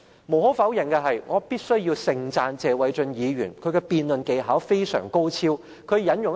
無可否認，謝偉俊議員的辯論技巧非常高超，我必須要盛讚他。